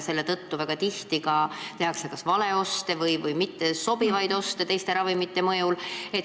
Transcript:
Seetõttu tehakse väga tihti kas valeoste või valitakse kokkusobimatuid ravimeid.